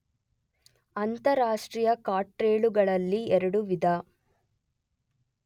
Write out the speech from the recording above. ಅಂತಾರಾಷ್ಟ್ರೀಯ ಕಾರ್ಟೆಲ್ಲುಗಳಲ್ಲಿ ಎರಡು ವಿಧ